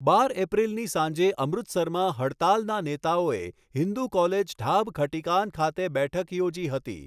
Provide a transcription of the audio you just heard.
બાર એપ્રિલની સાંજે અમૃતસરમાં હડતાલના નેતાઓએ હિંદુ કોલેજ ઢાબ ખટીકાન ખાતે બેઠક યોજી હતી.